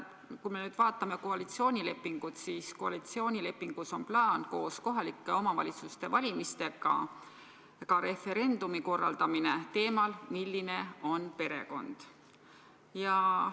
Kui me nüüd vaatame koalitsioonilepingut, siis koalitsioonilepingus on plaan korraldada koos kohalike omavalitsuste valimistega ka referendum teemal "Milline on perekond?".